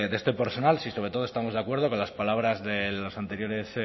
de este personal si sobre todo estamos de acuerdo con las palabras de los anteriores